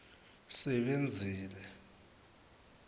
sebenzile